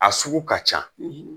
A sugu ka ca